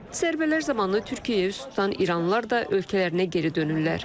Zərbələr zamanı Türkiyəyə üz tutan İranlılar da ölkələrinə geri dönürlər.